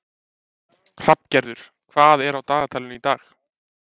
Hrafngerður, hvað er á dagatalinu í dag?